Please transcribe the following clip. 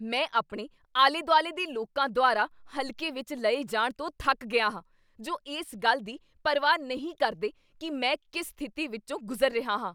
ਮੈਂ ਆਪਣੇ ਆਲੇ ਦੁਆਲੇ ਦੇ ਲੋਕਾਂ ਦੁਆਰਾ ਹਲਕੇ ਵਿਚ ਲਏ ਜਾਣ ਤੋਂ ਥੱਕ ਗਿਆ ਹਾਂ ਜੋ ਇਸ ਗੱਲ ਦੀ ਪਰਵਾਹ ਨਹੀਂ ਕਰਦੇ ਕੀ ਮੈਂ ਕਿਸ ਸਥਿਤੀ ਵਿਚੋਂ ਗੁਜ਼ਰ ਰਿਹਾ ਹਾਂ।